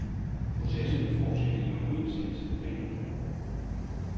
Processen vil fortsætte i overensstemmelse med planen.